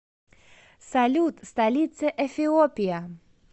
салют столица эфиопия